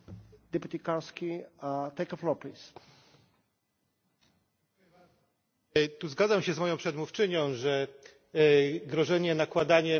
Zgadzam się z moją przedmówczynią, że grożenie nakładaniem kar na europejskich przewoźników jest po prostu zaprzeczeniem zasady negocjacji.